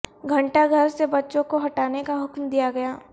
گھنٹہ گھر سے بچوں کو ہٹانے کا حکم دیا گیا